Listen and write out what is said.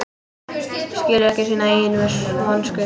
Skilur ekki sína eigin vonsku.